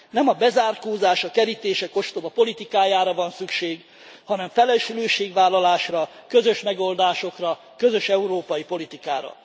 Nem a bezárkózás, a kerítések ostoba politikájára van szükség, hanem felelősségvállalásra, közös megoldásokra, közös európai politikára.